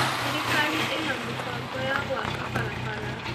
Thirikari ĩna mĩbango ya gwaka barabara.